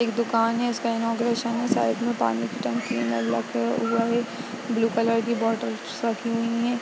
दुकान है जिसका इनौगुरेसन है। साइड में पानी की टंकी है। नल रखा हुआ है । ब्लू कलर की बोटल्स रखी हुई हैं ।